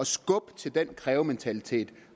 skubbe til den krævementalitet